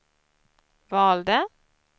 valde